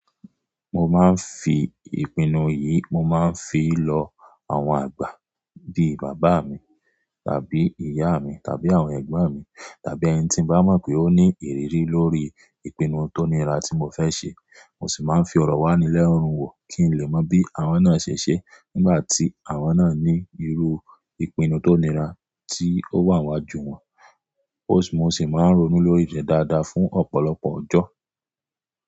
Mo máa ń fi ìpinnu yìí, mo máa ń fi lọ àwọn àgbà bíi bàbá mi, tàbí ìyá mi, tàbí àwọn ẹ̀gbọ́n mi, tàbí ẹni tí n bá mọ̀ pé ó ní ìrírí lórí ìpinnu tó nira tí mo fẹ́ ṣe. Mo sì máa ń fi ọ̀rọ̀ wá nílẹ̀ lenu wò kí n lè mọ bí àwọn náà ṣe ṣe nígbà tí àwọn náà ní irú ìpinnu tó nira tí ó wà n wájú wọn. Ó sì máa ń ronú lórí rẹ̀ dáadáa fún ọ̀pọ̀lọpọ̀ ọjọ́.